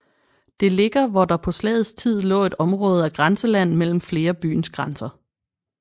Det ligger hvor der på slagets tid lå et område af grænseland mellem flere byers grænser